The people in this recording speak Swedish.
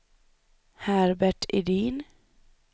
Herbert Edin